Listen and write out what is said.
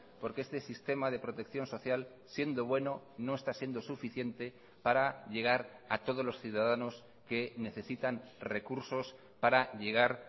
porque este sistema de protección social siendo bueno no está siendo suficiente para llegar a todos los ciudadanos que necesitan recursos para llegar